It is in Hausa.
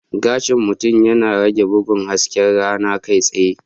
Gashin mutum yana rage bugun hasken rana kai tsaye.